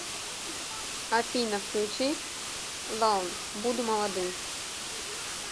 афина включи лон буду молодым